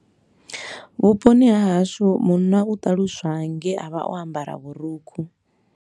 Vhuponi ha hashu munna u ṱaluswa nge a vha o ambara vhurukhu.